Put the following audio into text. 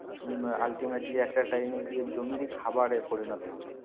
উম ultimately একটা time গিয়ে জমির খাবারে পরিনত হবে